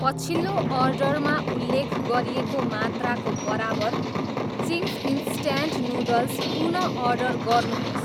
पछिल्लो अर्डरमा उल्लेख गरिएको मात्राको बराबर चिङ्स इन्स्ट्यान्ट नुडल्स पुनः अर्डर गर्नुहोस्।